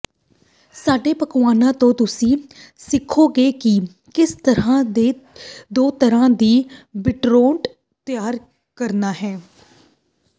ਸਾਡੇ ਪਕਵਾਨਾ ਤੋਂ ਤੁਸੀਂ ਸਿੱਖੋਗੇ ਕਿ ਕਿਸ ਤਰ੍ਹਾਂ ਦੋ ਤਰ੍ਹਾਂ ਦੀ ਬੀਟਰੋਉਟ ਤਿਆਰ ਕਰਨਾ ਹੈ